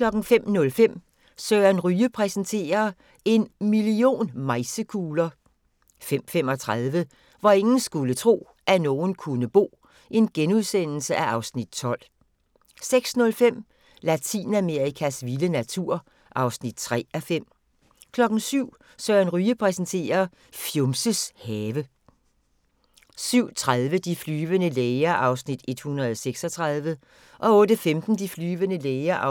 05:05: Søren Ryge præsenterer – En million mejsekugler ... 05:35: Hvor ingen skulle tro, at nogen kunne bo (Afs. 12)* 06:05: Latinamerikas vilde natur (3:5) 07:00: Søren Ryge præsenterer: Fjumses have 07:30: De flyvende læger (136:224) 08:15: De flyvende læger (137:224)